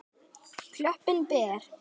Klöppin ber.